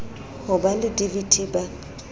ho ba le dvt ba